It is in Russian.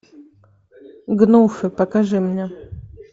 гнуфы покажи мне